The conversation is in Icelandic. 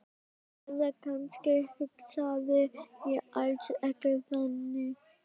Eða kannski hugsaði ég alls ekki þannig.